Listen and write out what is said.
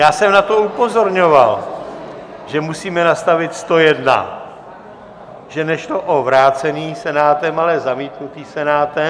Já jsem na to upozorňoval, že musíme nastavit 101, že nešlo o vrácený Senátem, ale zamítnutý Senátem...